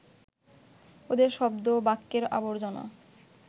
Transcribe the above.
ওদের শব্দ ও বাক্যের আবর্জনা